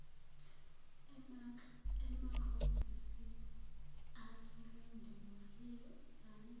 emahhovisi asolundi wayevame